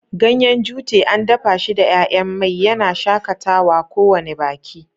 Ganyen Jute an dafa shi da 'ya'yan mai, yana shakatawa kowane baki.